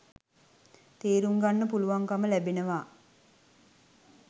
තේරුම්ගන්න පුළුවන්කම ලැබෙනවා